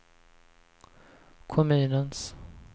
kommunens